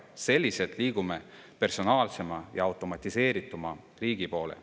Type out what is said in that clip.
Selliselt liigume personaalsema ja automatiseerituma riigi poole.